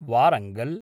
Warangal